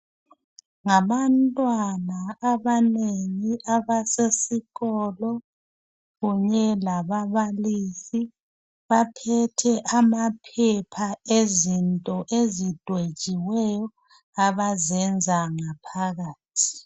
Ngabantwana abanengi abasesikolo kunye lababalisi abaphethe amaphepha ezinto ezidwetshiweyo abazenza ngaphakathi